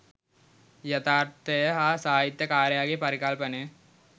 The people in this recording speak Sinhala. යථාර්ථය හා සාහිත්‍ය කාරයාගේ පරිපකල්පනය